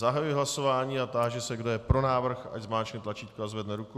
Zahajuji hlasování a táži se, kdo je pro návrh, ať zmáčkne tlačítko a zvedne ruku.